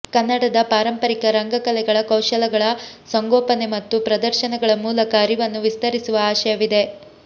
ಕನ್ನಡದ ಪಾರಂಪರಿಕ ರಂಗ ಕಲೆಗಳ ಕೌಶಲಗಳ ಸಂಗೋಪನೆ ಮತ್ತು ಪ್ರದರ್ಶನಗಳ ಮೂಲಕ ಅರಿವನ್ನು ವಿಸ್ತರಿಸುವ ಆಶಯವಿದೆ